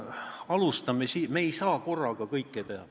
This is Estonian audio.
Me ei saa korraga kõike teha.